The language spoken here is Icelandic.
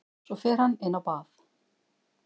Svo fer hann inná bað.